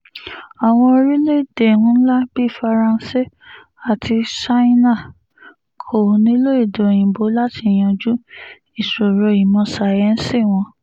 àwọn orílẹ̀‐èdè ńlá bíi faransé àti ṣáínà kò nílò èdè òyìnbó láti yanjú ìṣòro ìmọ̀ sáyẹ́ǹsì wọn